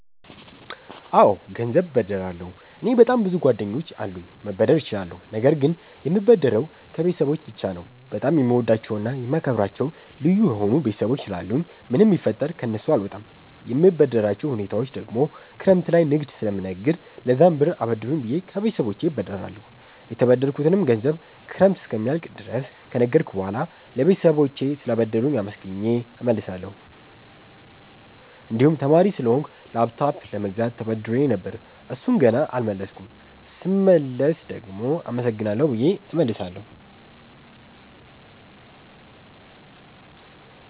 አወ ገንዘብ እበደራለሁ። እኔ በጣም ብዙ ጓደኞች አሉኝ መበደር እችላለሁ ነገር ግን የምበደረው ከቤተሰቦቸ ብቻ ነው። በጣም የምወዳቸውና የማከብራቸው ልዩ የሆኑ ቤተሰቦች ስላሉኝ ምንም ቢፈጠር ከነሱ አልወጣም። የምበደርባቸው ሁኔታወች ደግሞ ክረምት ላይ ንግድ ስለምነግድ ለዛም ብር አበድሩኝ ብየ ከቤተሰቦቸ እበደራለሁ። የተበደርኩትንም ገንዘብ ክረምት እስኪያልቅ ድረስ ከነገድኩ በሁዋላ ለባለቤቶቹ ስላበደሩኝ አመስግኘ እመልሳለሁ። እንድሁም ተማሪ ስለሆንኩ ላፕቶፕ ለመግዛት ተበድሬ ነበር እሡን ገና አልመለስኩም ስመልስ ደግሞ አመሰግናለሁ ብየ እመልሳለሁ።